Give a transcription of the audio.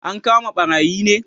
An kama ɓarayin ne